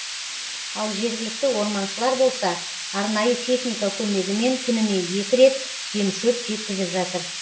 ал жергілікті орманшылар болса арнайы техника көмегімен күніне екі рет жем шөп жеткізіп жатыр